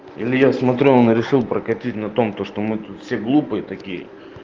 или я смотрю он решил прокатиться на том то что мы тут все глупые такие